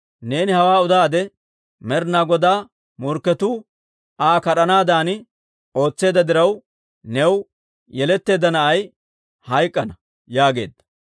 Neeni hawaa udaade, Med'inaa Godaa morkketuu Aa kad'anaadan ootseedda diraw, new yeletteedda na'ay hayk'k'ana» yaageedda.